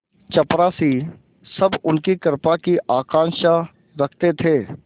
चपरासीसब उनकी कृपा की आकांक्षा रखते थे